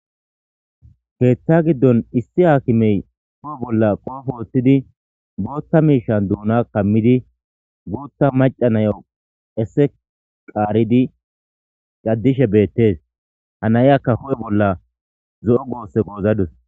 Keththa gidoni issi hakime be huphe bolla kopyye wothidi bootha misha dunan kamidi bootha macca nayo qesse qaridi gadishe bethess. Ha naykka hue' bolla zoo' Gosse gozadus.